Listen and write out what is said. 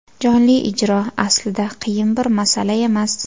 Jonli ijro, aslida, qiyin bir masala emas.